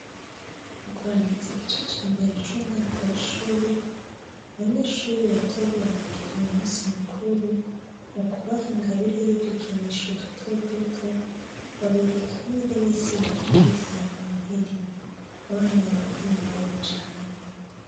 Mukurangiza igice cambere cumwaka wishure abanyeshure batoya babagiriye umunsi mukuru mukubaha ingabire yudukinisho dutoduto babereka nireresi ibabwira ivya noheli abana bahimbawe cane